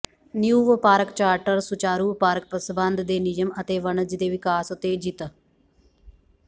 ਨ੍ਯੂ ਵਪਾਰਕ ਚਾਰਟਰ ਸੁਚਾਰੂ ਵਪਾਰਕ ਸਬੰਧ ਦੇ ਨਿਯਮ ਅਤੇ ਵਣਜ ਦੇ ਵਿਕਾਸ ਉਤੇਜਿਤ